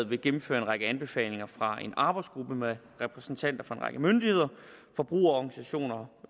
vil gennemføre en række anbefalinger fra en arbejdsgruppe med repræsentanter for en række myndigheder forbrugerorganisationer